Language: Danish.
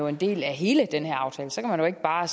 en del af hele den her aftale så kan man ikke bare